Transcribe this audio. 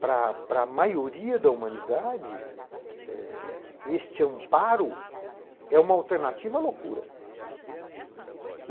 Para para a maioria da humanidade, eh este amparo é uma alternativa à loucura, né.